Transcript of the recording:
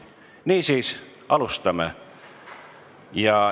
Niisiis, alustame!